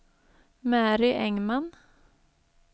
Mary Engman